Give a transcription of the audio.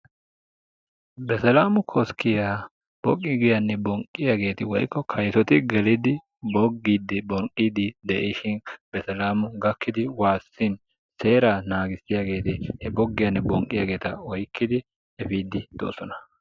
beselaamu koskkiya boggiyanne bonqqiya woykko kaysoti bogiidi bonqiidi de'ishin seeraa naagissiyageeti boggiyanne bonqqiyaageta efiidi de'oosona.